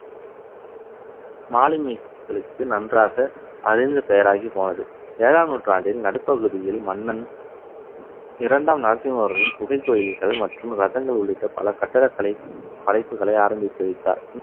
மாலுமிகளுக்கு நன்றாக அறிந்த பெயராகி போனது ஏழாம் நூற்றாண்டின் நடுப்பகுதியில் மன்னன் இரண்டாம் நரசிம்ம வர்மன் குகைக்கோயில்கள் மற்றும் ரத்தங்கள் உள்ளிட்ட பல கட்டடக்கலை படைப்புகளை ஆரம்பித்து வைத்தார்